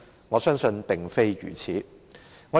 我相信並非如此。